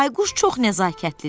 Bayquş çox nəzakətlidir.